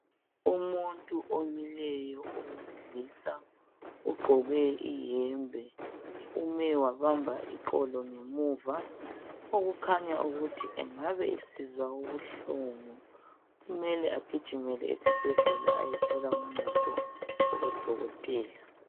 Umuntu omileyo owesilisa ugqoke iyembe. Ume wabamba iqolo ngemuva okukhanya ukuthi engabe esizwa ubuhlungu .Kumele agijimele esibhedlela ayethola uncedo kubo Dokotela.